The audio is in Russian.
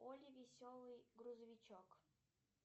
олли веселый грузовичок